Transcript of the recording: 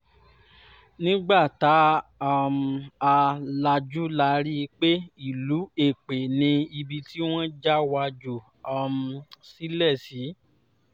nígbà tá um a lajú la rí i pé ìlú èpè ni ibi tí wọ́n já wa jù um sílẹ̀ sí